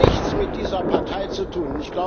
Es hat nichts mit dieser Partei zu tun.